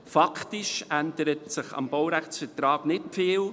Faktisch ändert sich am Baurechtsvertrag nicht viel: